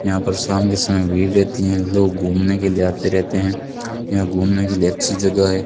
यहां पर शाम के समय भीड़ रहती हैं लोग घूमने के लिए आते रहते हैं यहां घूमने के लिए अच्छी जगह है।